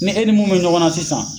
Ne e ni mun be ɲɔgɔn na sisan